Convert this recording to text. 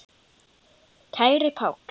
Kæri Páll.